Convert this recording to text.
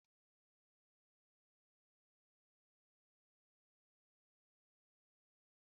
Mama m gụrụ otu akụkọ ifo gbasara fèris ndị bi na nzuzo n'ubi